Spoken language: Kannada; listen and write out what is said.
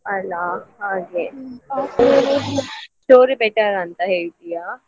ಅಲಾ ಹಾಗೆ store ಯೇ better ಅಂತಾ ಹೇಳ್ತೀಯಾ?